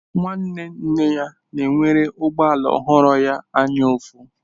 Nwanne nne ya na-enwere ụgbọ ala ọhụrụ ya anyaụfụ.